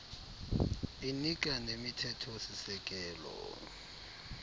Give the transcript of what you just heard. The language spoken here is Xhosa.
inika nemithetho sisekelo